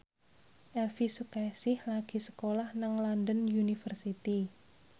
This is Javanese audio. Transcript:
Elvi Sukaesih lagi sekolah nang London University